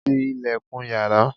ti ilẹ̀kùn yàrá